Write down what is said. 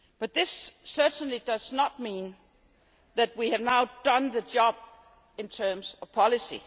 This certainly does not mean that we have now done the job in terms of policy.